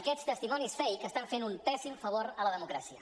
aquests testimonis fake estan fent un pèssim favor a la democràcia